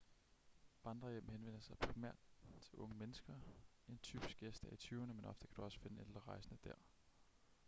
vandrerhjem henvender sig primært til unge mennesker en typisk gæst er i tyverne men ofte kan du også finde ældre rejsende der